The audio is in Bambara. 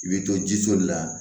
I bɛ to jiso de la